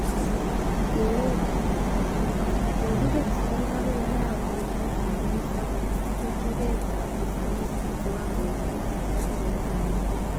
Keret nematagu-kokiker skul akoi araweshek mutu ak chuchuketab pimanetab kiwangoishek katikati eng kamuget